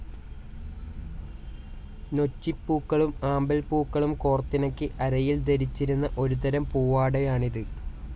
നൊച്ചിപ്പൂക്കളും ആമ്പൽ പൂക്കളും കോർത്തിണക്കി അരയിൽ ധരിച്ചിരുന്ന ഒരു തരം പൂവാടയാണിത്.